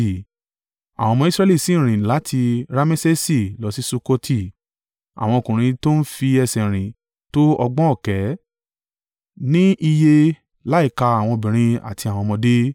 Àwọn ọmọ Israẹli sì rìn láti Ramesesi lọ sí Sukkoti. Àwọn ọkùnrin tó ń fi ẹsẹ̀ rìn tó ọgbọ̀n ọ̀kẹ́ (600,000) ni iye láìka àwọn obìnrin àti àwọn ọmọdé.